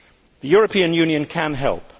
The European Union can help